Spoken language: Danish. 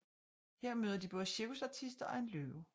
Her møder de både cirkusartister og en løve